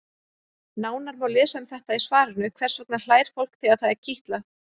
Nánar má lesa um þetta í svarinu Hvers vegna hlær fólk þegar það er kitlað?